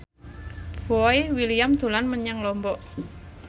Boy William dolan menyang Lombok